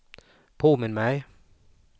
påminn mig